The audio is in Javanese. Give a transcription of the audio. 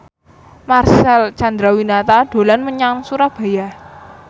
Marcel Chandrawinata dolan menyang Surabaya